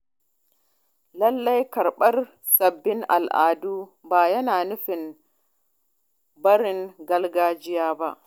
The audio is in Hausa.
Lallai Karɓar sabbin al’adu ba yana nufin barin gargajiya ba.